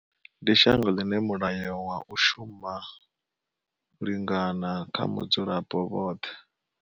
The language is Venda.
Ndi shango ḽine mulayo wa u shuma lingana kha mudzulapo vhoṱhe.